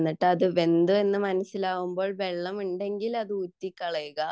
പിന്നെ അത് വെന്തു എന്ന് മനസ്സിലാവുമ്പോൾ വെള്ളമുണ്ടെങ്കിൽ അത് ഊറ്റിക്കളയുക